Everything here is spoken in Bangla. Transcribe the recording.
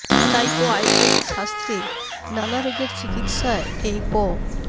তাই তো আয়ুর্বেদ শাস্ত্রে নানা রোগের চিকিৎসায় এই প